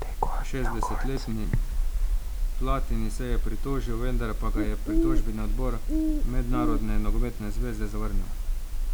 Šestdesetletni Platini se je pritožil, vendar pa ga je pritožbeni odbor Mednarodne nogometne zveze zavrnil.